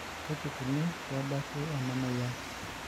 Kaji ikoni pee ebaki ena moyian?